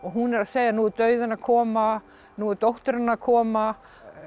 hún er að segja nú er dauðinn að koma nú er dóttirin að koma